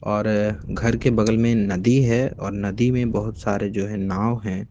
और घर के बगल में नदी है और नदी में बहोत सारे जो है नाव हैं।